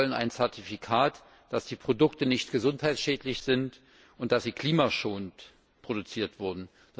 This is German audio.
Sie wollen ein Zertifikat, dass die Produkte nicht gesundheitsschädlich sind und dass sie klimaschonend produziert wurden.